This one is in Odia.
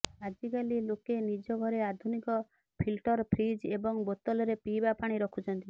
ଆଜିକାଲି ଲୋକେ ନିଜ ଘରେ ଆଧୁନିକ ଫିଲ୍ଟର ଫ୍ରିଜ୍ ଏବଂ ବୋତଲରେ ପିଇବା ପାଣି ରଖୁଛନ୍ତି